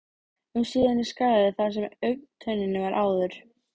um síðan í skarðið þar sem augntönnin var áður.